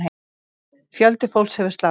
Fjöldi fólks hefur slasast.